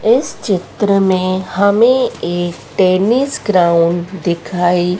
इस चित्र में हमें एक टेनिस ग्राउंड दिखाई--